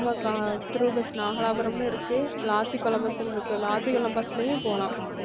ஆமாக்கா through bus நாகலாபுரம்னு இருக்கு, விளாத்திகுளம் bus ன்னு இருக்கு விளாத்திகுளம் bus லயும் போலாம்